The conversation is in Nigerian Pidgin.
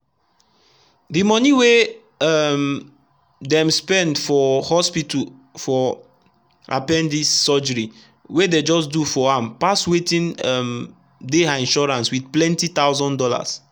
the money wey um dem spend for hospital for appendice surgery wey dey just do for ampass wetin um dey her insurance with plenty thousand dollars.